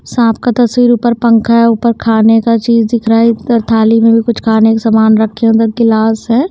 सांप का तस्वीर ऊपर पंखा है। ऊपर खाने का चीज दिख रहा है। थाली में भी कुछ खाने का सामान रखे अंदर गिलास है।